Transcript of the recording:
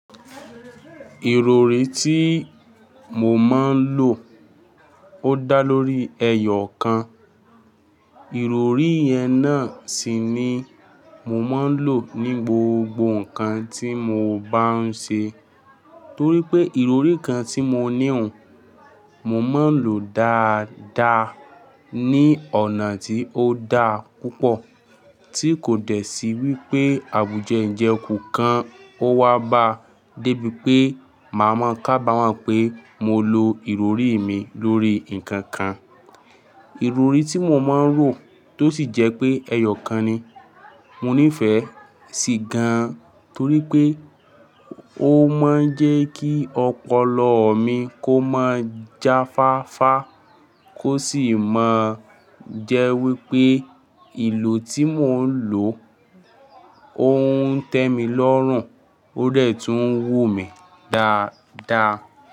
Ìrọrí tí mo máa ń lò ó dá lórí ẹyọ kan. Ìrọrí yẹn náà sì ni mo máa ń lò ní gbogbo nǹkan tí mo bá ń ṣe torí pé ìrọrí kan tí mo ní òun mo máa ń lò ó dáadáa ní ọ̀nà tí ó da púpọ̀ tí kò dẹ̀ sí wípé àbùjẹ́ ń jẹ kúùkan ó wá bá bí pé màá máa kábàámọ̀ pé mo lo ìrọrí mi lórí nǹkan kan. Ìrọrí tí mo máa ń rò tó sì jẹ́ pé ẹyọ̀kan ni mo nífẹ̀ẹ́ sí gan-an torí pé ó máa ń jẹ́ kí ọpọlọ mi kó máa jáfáfá kó sì máa jẹ́ wípé ìlò tí mò ń lò óuń tẹ́mi lọ́rùn ó dẹ̀ tún wù mí dáadáa.